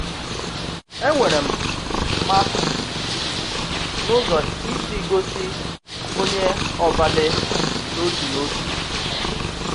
Ènwèrè m màṣtì n’ụzò ị̀ sì gòsì ònye òbàlè n’òtù n’òtù.